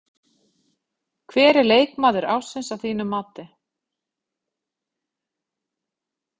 Hver er leikmaður ársins að þínu mati?